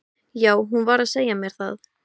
Já, hún var að segja mér það